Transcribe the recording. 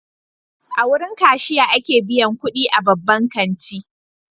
A wurin kashiya ake biyan kudi a babban kanti.